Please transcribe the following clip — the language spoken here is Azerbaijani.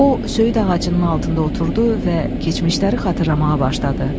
O söyüd ağacının altında oturdu və keçmişləri xatırlamağa başladı.